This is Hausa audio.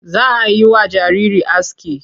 Za a yi wa jariri aski.